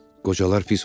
Qocalar pis olur.